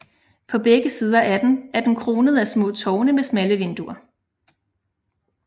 På begge sider af den er den kronet af små tårne med smalle vinduer